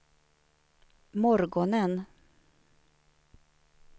morgonen